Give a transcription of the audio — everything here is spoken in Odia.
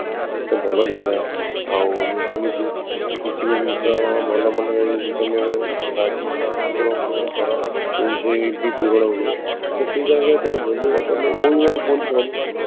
ଏତେ ଭଲ ଜାଗା ଆଉ ମୁଁ ଶୁଣିଛି କିଛି ବି ଜିନିଷ ମନେ ମନେ ତମେ ଠାକୁରଙ୍କୁ କର ସେଇ ବି କରୋନା ହୁଏ but ସେଇ ଜାଗାରେ holy water ମାନେ